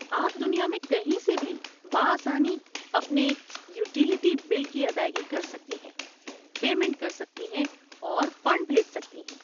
آپ دنیا میں کہیں سے بھی بآسانی اپنے یوٹیلیٹی بل کی ادائیگی کر سکتی ہیں، پیمنٹ کر سکتی ہیں اور فنڈ بھیج سکتی ہیں۔